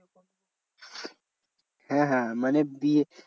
হ্যাঁ মানে বিয়ে